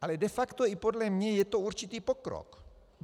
Ale de facto i podle mne je to určitý pokrok.